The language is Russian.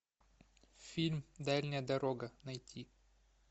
фильм дальняя дорога найти